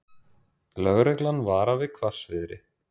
Lögreglan varar við hvassviðri